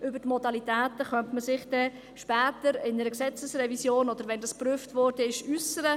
Über die Modalitäten könnte man sich dann später in einer Gesetzesrevision, oder nachdem das geprüft worden ist, äussern.